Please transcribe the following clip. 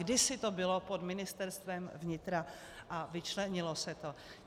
Kdysi to bylo pod Ministerstvem vnitra a vyčlenilo se to.